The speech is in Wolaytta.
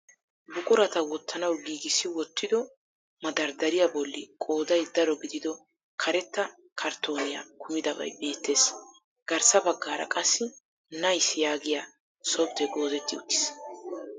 Buqurata wottanawu giigissi wotido 'madardariya' bolli qooday daro gidido karetta karttoniya kumidabay beettees. Garssa baggaara qassi 'Nice' yaagiya softee goozetti uttiis.